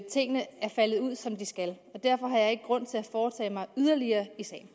tingene er faldet ud som de skal derfor har jeg ikke grund til at foretage mig yderligere